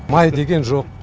май деген жоқ